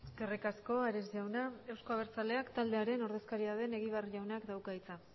eskerrik asko ares jauna euzko abertzaleak taldearen ordezkaria den egibar jaunak dauka hitza